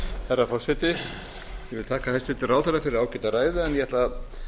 herra forseti ég vil þakka hæstvirtum ráðherra fyrir ágæta ræðu en ég ætla að